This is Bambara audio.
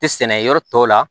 Tɛ sɛnɛ yɔrɔ tɔw la